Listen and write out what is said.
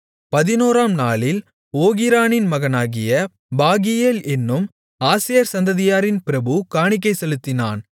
பதினோராம் நாளில் ஓகிரானின் மகனாகிய பாகியேல் என்னும் ஆசேர் சந்ததியாரின் பிரபு காணிக்கை செலுத்தினான்